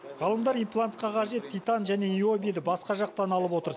ғалымдар имплантқа қажет титан және необиді басқа жақтан алып отыр